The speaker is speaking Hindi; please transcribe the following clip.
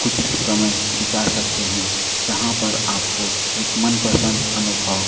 कुछ समय बिता सकते है जहां पर आपको एक मनपसंद अनुभव--